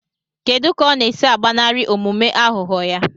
Kedu ka ọ na-esi agbanarị omume aghụghọ ya?